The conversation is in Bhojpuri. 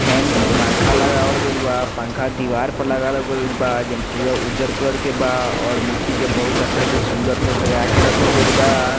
फैन पंखा लगावल गईल बा पंखा दिवार पर लगावल गईल बा जन पूरा उज्जर कलर के बा अर मूर्ति के बहुत अच्छा से सुन्दर से सजा के रखल गईल बा।